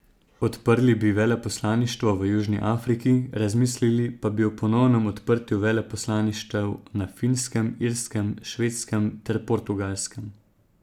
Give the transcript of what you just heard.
Odprli bi veleposlaništvo v Južni Afriki, razmislili pa bi o ponovnem odprtju veleposlaništev na Finskem, Irskem, Švedskem ter Portugalskem.